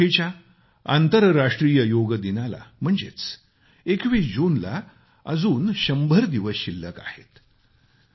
या वर्षीच्या आंतरराष्ट्रीय योग दिनाला म्हणजेच 21 जूनला अजून 100 दिवस शिल्लक आहेत